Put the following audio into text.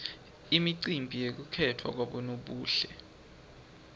imicimbi yekukhetfwa kwabonobuhle